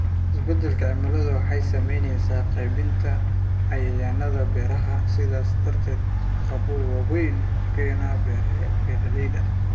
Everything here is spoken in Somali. Isbeddelka cimiladu waxay saamaynaysaa qaybinta cayayaannada beeraha, sidaas darteedna caqabado waaweyn ku keenaya beeralayda.